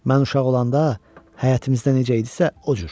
Mən uşaq olanda həyətimizdə necə idisə, o cür.